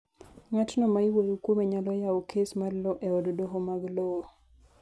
ng'atno ma iwuoyo kuome nyalo yawo kes mar lowo e od doho mag lowo